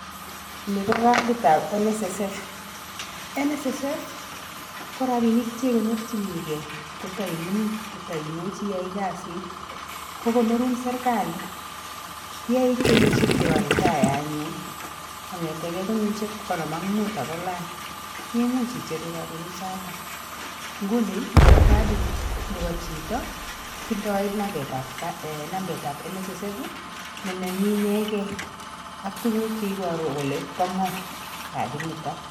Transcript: Ni ko carditab NSSF.NSSF, ko rabinik cheikonorjinigei kotaimining', kotaimuchi iyai kazit. Ko konorun serkali yeiit kenyishek chepo retire anyun, konetegei kenyishek konom ak muut akolany imuch icheru rabinik choto. Nguni ni ko cardit nebo chito, tindoi nambaitab NSSF ne nenyin inegei ak tuguk cheiboru kole bo ng'o cardit nito.